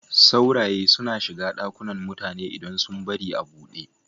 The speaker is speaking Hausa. Sauraye suna shiga ɗakunan mutane idan sun bari a buɗe.